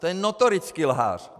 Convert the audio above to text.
To je notorický lhář!